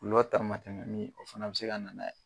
Olu ka damatɛmɛni o fana bi se ka na n'a ye